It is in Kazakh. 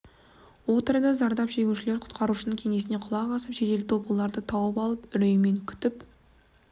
отырды зардап шегушілер құтқарушының кеңесіне құлақ асып және жедел топ оларды тауып алып үреймен күтіп